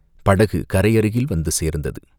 படகு கரை அருகில் வந்து சேர்ந்தது.